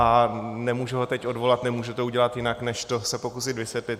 A nemůžu ho teď odvolat, nemůžu to udělat jinak, než se to pokusit vysvětlit.